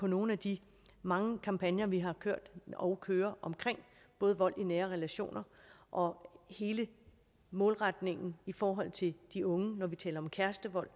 nogle af de mange kampagner vi har kørt og kører om både vold i nære relationer og hele målretningen i forhold til de unge når vi taler om kærestevold